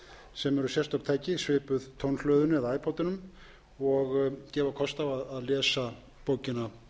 sem eru sérstök tæki svipuð tónhlöðunni eða æpoddinum og gefa kost á lesa bókina